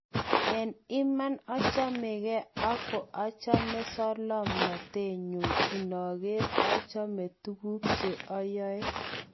En iman ochomege ak koachome solomnote nyun, inoker ochome tuguk cheoyoe.